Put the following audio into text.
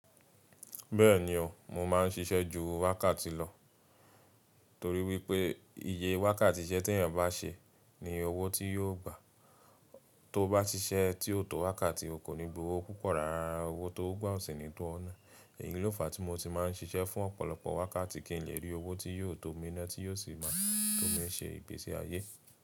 Bẹ́ẹ̀ni o, mo ma n sisẹ ju wákàti lọ torí wípé iye wákàti isẹ tí èèyàn bá se ni owó tí yóò gba. Tó o bá ti sẹ́ tí ó tó wákàtì o kò ní gbowó púpọ̀ rárá. Owó tó gbà òsì ní to ọ̀nà. Èyí ni ó fa tí mo ti má n sisẹ́ fún ọ̀pọ̀lọpọ̀ wákàtì kí n lè rí owó tí yóò tó mi ná tí yóò sì má tó mi ṣe ìgbésí ayé.